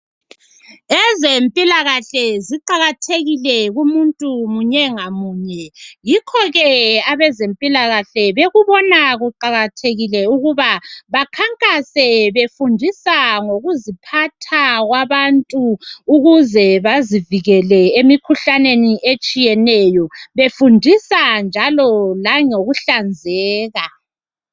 ezempilakahle ziqakathekile kumuntu munye ngamunye yokho ke abezempilakahle bekubona kuqakathekile ukuba bakhankase befundisa ngokuziphatha kwabantu ukuze bazivikele emikhuhlaneni etshiyeneyo befundisa njalo langokuhlanzeka